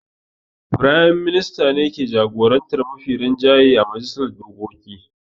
Firayim Minista ne ke jagorantar mafi rinjaye a majalisar dokoki.